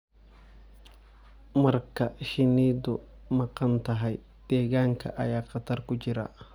Marka shinnidu maqan tahay, deegaanka ayaa khatar ku jira.